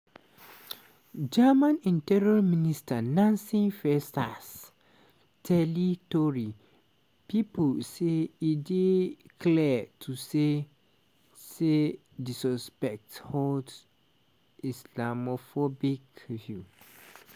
germany interior minister nancy faeser tell tori pipo say e dey "clear to see" say di suspect hold "islamophobic" views.